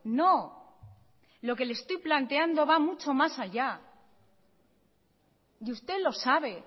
no lo que le estoy planteando va mucho más allá y usted lo sabe